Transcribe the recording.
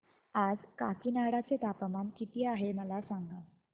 आज काकीनाडा चे तापमान किती आहे मला सांगा